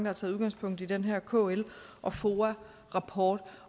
har taget udgangspunkt i den her kl og foa rapport